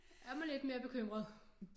Er man lidt mere bekymret